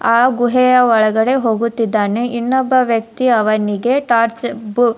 ಆ ಗುಹೆಯ ಒಳಗಡೆ ಹೋಗುತ್ತಿದ್ದಾನೆ ಇನ್ನೊಬ್ಬ ವ್ಯಕ್ತಿ ಅವನಿಗೆ ಟಾರ್ಚ್ ಬು --